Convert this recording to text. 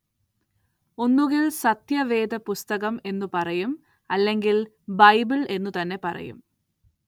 ഒന്നുകില്‍ സത്യവേദപുസ്തകം എന്നു പറയും അല്ലെങ്കില്‍ ബൈബിള്‍ എന്നു തന്നെ പറയും